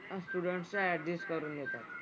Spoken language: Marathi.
मग स्टुडंट्सला अड्जस्ट करून घेतात.